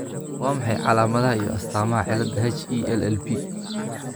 Waa maxay calaamadaha iyo astaamaha cilada HELLP ?